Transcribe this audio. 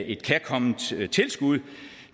et kærkomment tilskud